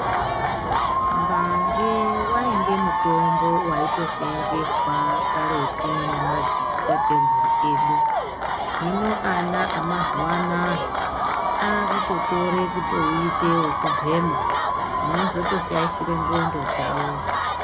Mbanje wainge mutombo waitoseenzeswa karetu nemadzitateguru edu. Hino ana amazuwa anaya, akutotore kutouite wekubhema zvinotozoshaishire ndxondo dzavo.